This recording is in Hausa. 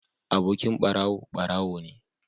Abokin barawo barawo ne